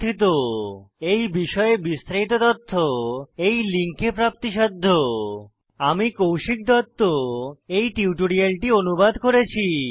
এই বিষয়ে বিস্তারিত তথ্য এই লিঙ্কে প্রাপ্তিসাধ্য spoken hyphen tutorial dot org slash ন্মেইক্ট হাইফেন ইন্ট্রো আমি কৌশিক দত্ত এই টিউটোরিয়ালটি অনুবাদ করেছি